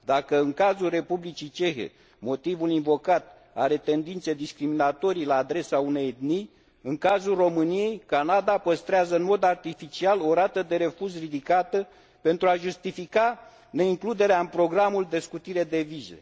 Dacă în cazul Republicii Cehe motivul invocat are tendințe discriminatorii la adresa unei etnii, în cazul României Canada păstrează în mod artificial o rată de refuz ridicată pentru a justifica neincluderea în programul de scutire de vize.